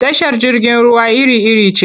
Tashar jirgin ruwa iri-iri ce.